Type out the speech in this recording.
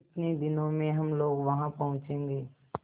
कितने दिनों में हम लोग वहाँ पहुँचेंगे